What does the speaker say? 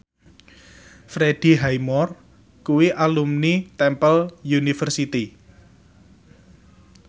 Freddie Highmore kuwi alumni Temple University